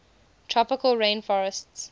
tropical rain forestt